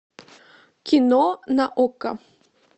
кино на окко